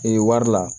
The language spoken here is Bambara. Ee wari la